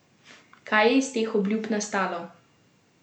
Kaj je iz teh obljub nastalo?